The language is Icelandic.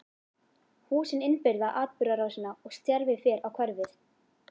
Húsin innbyrða atburðarásina og stjarfi fer á hverfið.